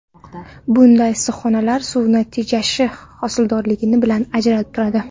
Bunday issiqxonalar suvni tejashi, hosildorligi bilan ajralib turadi.